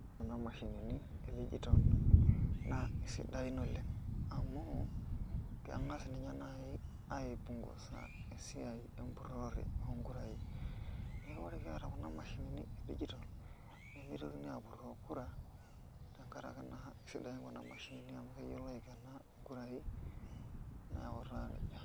Kuna mashinini e digital naa keisidaini oleng'